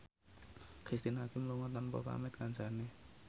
Cristine Hakim lunga tanpa pamit kancane